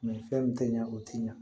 fɛn min tɛ ɲɛ o tɛ ɲa